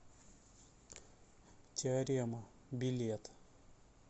теорема билет